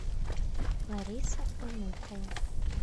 лариса онухова